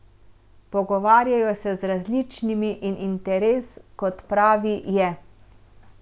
Pogovarjajo se z različnimi in interes, kot pravi, je.